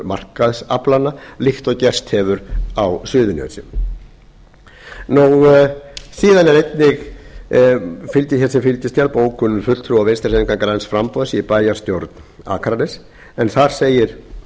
markaðsaflanna líkt og gerst hefur á suðurnesjum síðan fylgir einnig hér sem fylgiskjal bókun fulltrúa vinstri hreyfingarinnar græns framboðs í bæjarstjórn akraness en þar segir í